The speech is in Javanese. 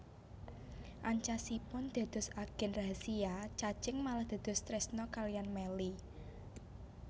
Ancasipun dados agen rahasiya Cacing malah dados tresna kaliyan Melly